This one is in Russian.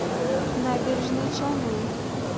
набережные челны